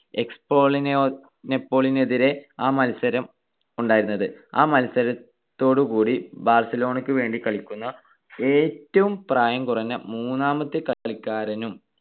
എസ്പാനോളി ~ എസ്പാന്യോളിനെതിരെ ആ മത്സരം ഉണ്ടായിരുന്നത്. ആ മത്സരത്തോടു കൂടി ബാർസലോണക്ക് വേണ്ടി കളിക്കുന്ന ഏറ്റവും പ്രായം കുറഞ്ഞ മൂന്നാമത്തെ കളിക്കാരനും